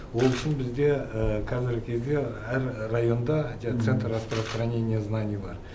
ол үшін бізде қазіргі кезде әр районда центр жаңағы распространения знаний бар